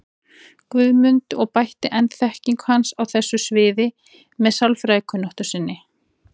Guðmund og bætti enn þekkingu hans á þessu sviði með sérfræðikunnáttu sinni.